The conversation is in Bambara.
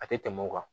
A tɛ tɛmɛ o kan